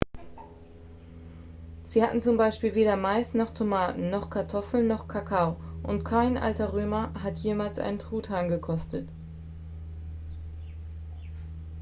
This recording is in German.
sie hatten zum beispiel weder mais noch tomaten noch kartoffeln noch kakao und kein alter römer hat jemals einen truthahn gekostet